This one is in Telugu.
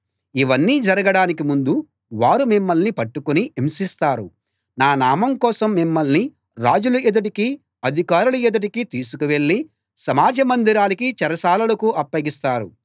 ఇవన్నీ జరగడానికి ముందు వారు మిమ్మల్ని పట్టుకుని హింసిస్తారు నా నామం కోసం మిమ్మల్ని రాజుల ఎదుటికీ అధికారుల ఎదుటికీ తీసుకువెళ్ళి సమాజ మందిరాలకీ చెరసాలలకూ అప్పగిస్తారు